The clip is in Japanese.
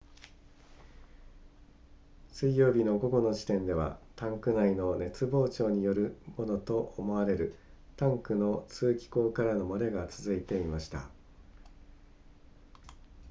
水曜日の午後の時点ではタンク内の熱膨張によるものと思われるタンクの通気孔からの漏れが続いていました